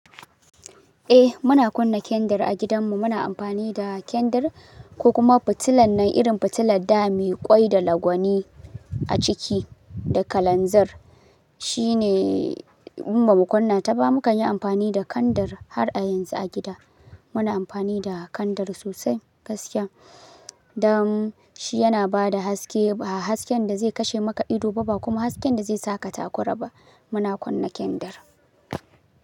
Eh muna kunna kendir a gidanmu. Muna amfani da kendir ko kuma fitilan nan irin fitila da ta yi ƙwai da lagwani a ciki da kalanzir. Shine in ba mu kunna ta ba. Mukan yi amfani da kendir har a yanzu a gida. Muna amfani da kendar sosai gaskiya. Dan shi yana ba da haske, ba hasken da zai kashe maka ido ba, ba kuma hasken da zai saka takura ba. Muna kunna kendar.